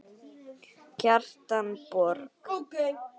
Kjartan Borg.